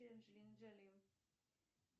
анджелина джоли